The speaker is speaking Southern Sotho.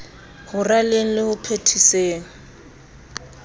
ho raleng le ho phethiseng